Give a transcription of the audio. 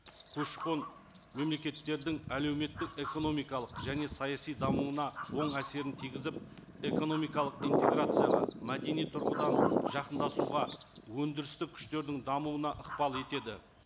көші қон мемлекеттердің әлеуметтік эономикалық және саяси дамуына оң әсерін тигізіп экономикалық интеграцияға мәдени тұрғыдан жақындасуға өндірісті күштердің дамуына ықпал етеді